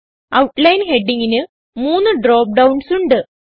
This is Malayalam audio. ഔട്ട്ലൈൻ headingന് 3 ഡ്രോപ്പ് ഡൌൺസ് ഉണ്ട്